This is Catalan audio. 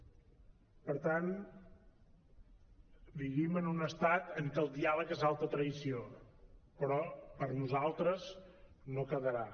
per tant vivim en un estat en què el diàleg és alta traïció però per nosaltres no quedarà